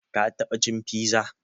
Ka taɓa cin piza?